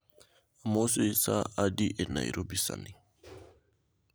Amosoi saa adi e nairobi sani